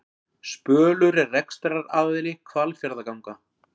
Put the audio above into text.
Spölur er rekstraraðili Hvalfjarðarganga